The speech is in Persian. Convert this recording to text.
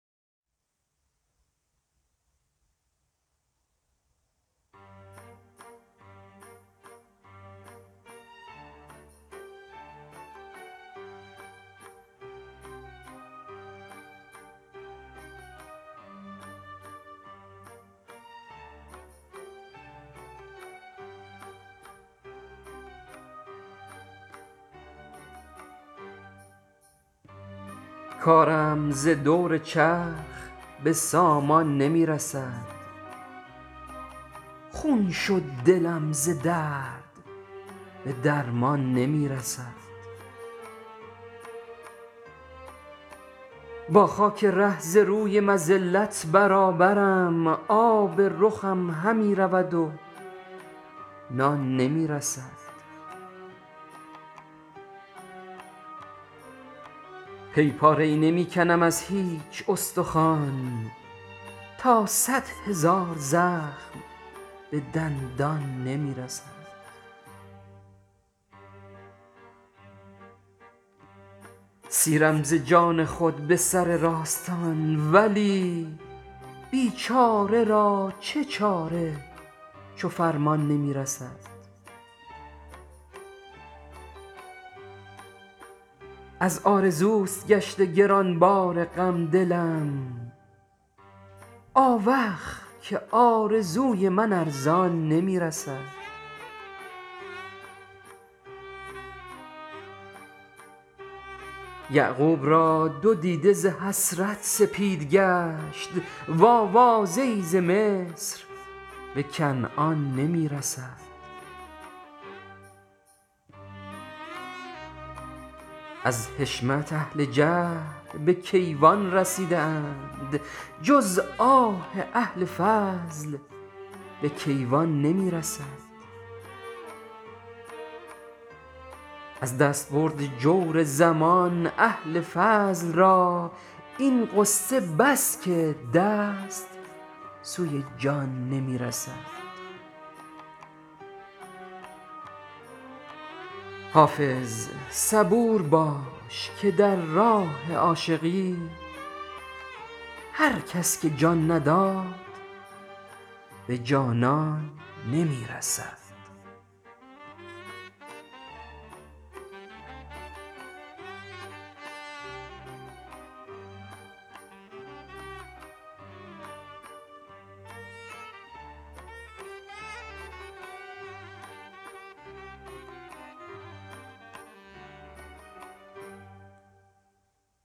کارم ز دور چرخ به سامان نمی رسد خون شد دلم ز درد به درمان نمی رسد با خاک ره ز روی مذلت برابرم آب رخم همی رود و نان نمی رسد پی پاره ای نمی کنم از هیچ استخوان تا صدهزار زخم به دندان نمی رسد سیرم ز جان خود به سر راستان ولی بیچاره را چه چاره چو فرمان نمی رسد از آرزوست گشته گرانبار غم دلم آوخ که آرزوی من ارزان نمی رسد یعقوب را دو دیده ز حسرت سپید گشت وآوازه ای ز مصر به کنعان نمی رسد از حشمت اهل جهل به کیوان رسیده اند جز آه اهل فضل به کیوان نمی رسد از دستبرد جور زمان اهل فضل را این غصه بس که دست سوی جان نمی رسد حافظ صبور باش که در راه عاشقی هر کس که جان نداد به جانان نمی رسد